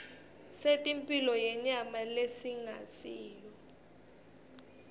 setemphilo yenyama lesingasiyo